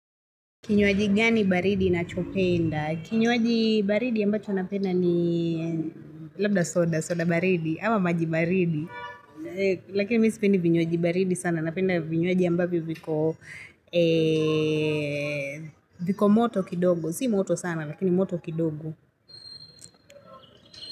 Kinywaji gani baridi nachopenda? Kinywaji baridi ambacho napenda ni labda soda, soda baridi, ama maji baridi. Lakini mi sipendi vinywaji baridi sana, napenda vinywaji ambavyo viko viko moto kidogo, si moto sana, lakini moto kidogo.